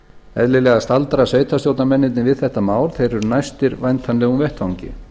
eðlilega staldra sveitarstjórnarmennirnir við þetta mál þeir eru næstir væntanlegum vettvangi